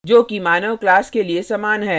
जो कि मानव class के लिए human है